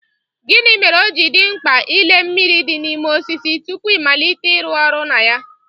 Gịnị mere ọji dị mkpa ịle mmiri dị n'ime osisi tupu ịmalite ịrụ ọrụ na ya?